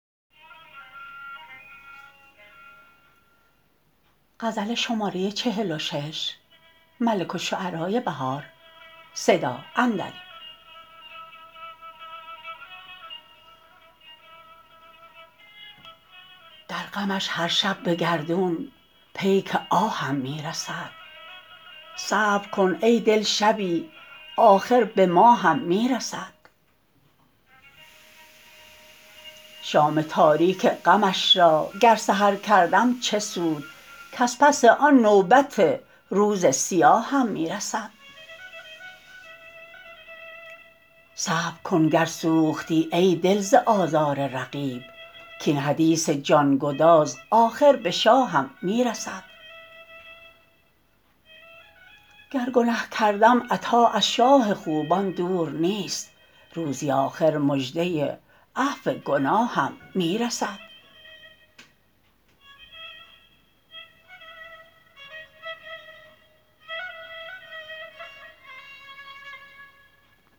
درغمش هرشب به گردون پیک آهم می رسد صبرکن ای دل شبی آخر به ما هم می رسد شام تاریک غمش راگر سحرکردم چه سود کزپس آن نوبت روز سیاهم می رسد صبرکن گر سوختی ای دل ز آزار رقیب کاین حدیث جانگداز آخر به شاهم می رسد گر گنه کردم عطا از شاه خوبان دور نیست روزی آخر مژده عفو گناهم می رسد